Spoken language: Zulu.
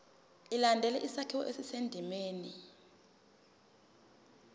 ilandele isakhiwo esisendimeni